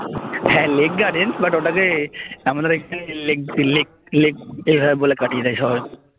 হ্যাঁ Lake Gardens but ওটাকে আমাদের এখানে লেক লেক এইভাবে বলে কাটিয়ে দেয় সবাই